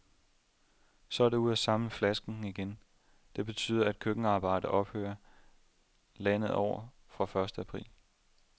Så er det ud at samle flasker igen. Det betyder, at køkkenarbejdet ophører landet over fra første april.